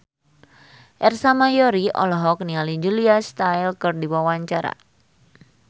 Ersa Mayori olohok ningali Julia Stiles keur diwawancara